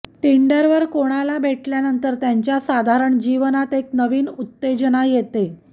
टिंडरवर कोणाला भेटल्यानंतर त्यांच्या साधारण जीवनात एक नवीन उत्तेजना येते